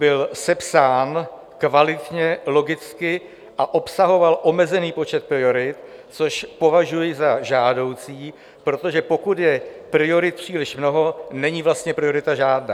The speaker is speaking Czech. Byl sepsán kvalitně, logicky a obsahoval omezený počet priorit, což považuji za žádoucí, protože pokud je priorit příliš mnoho, není vlastně priorita žádná.